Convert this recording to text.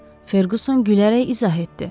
Ferquson gülərək izah etdi.